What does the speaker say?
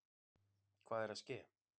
Hvað er að ske!